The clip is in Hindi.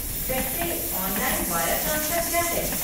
वैसे, ऑनलाइन वायर ट्रांसफर क्या है?